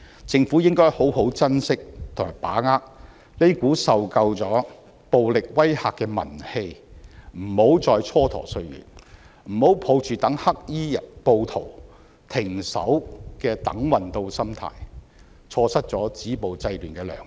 政府應該好好珍惜和把握這股受夠暴力威嚇的民氣，不要再蹉跎歲月，不要抱着待黑衣暴徒停手的"等運到"心態，錯失止暴制亂的良機。